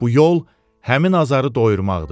Bu yol həmin azarı doyurmaqdır.